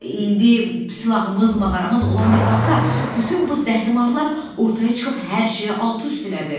İndi silahımız, mağaramız olan bir vaxtda bütün bu zəhrimarlar ortaya çıxıb hər şeyi alt-üst elədi.